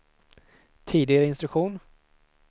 tidigare instruktion